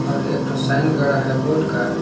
और एक ठो साइन गड़ा है बोर्ड का।